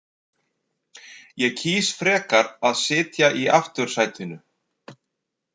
Ég kýs frekar að sitja í aftursætinu.